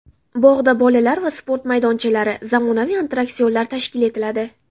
Bog‘da bolalar va sport maydonchalari, zamonaviy attraksionlar tashkil etiladi.